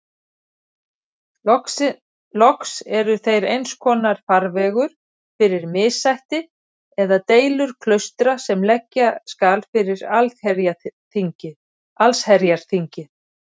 Loks eru þeir einskonar farvegur fyrir missætti eða deilur klaustra sem leggja skal fyrir allsherjarþingið.